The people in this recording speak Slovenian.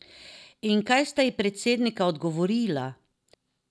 In kaj sta ji predsednika odgovorila?